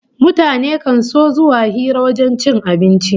Mutane kan so zuwa hira a wajen cin abinci